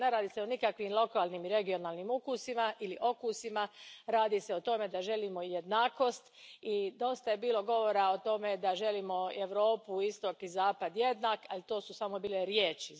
Dakle, ne radi se o nikakvim lokalnim i regionalnim ukusima ili okusima, radi se o tome da želimo jednakost i dosta je bilo govora o tome da želimo Europu, istok i zapad jednak, ali to su samo bile riječi.